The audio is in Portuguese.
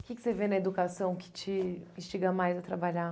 O que que você vê na educação que te instiga mais a trabalhar?